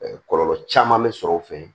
kɔlɔlɔ caman bɛ sɔrɔ o fɛ